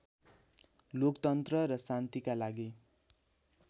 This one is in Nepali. लोकतन्त्र र शान्तिका लागि